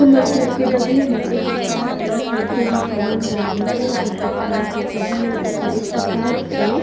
हमर घर के बगले में एकटा कार के जते भी सामान रखे छै ओकर दुकान छै ते हमर कत्ते एकटा कार छै --